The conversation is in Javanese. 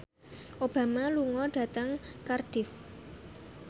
Obama lunga dhateng Cardiff